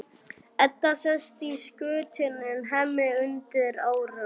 Edda sest í skutinn en Hemmi undir árar.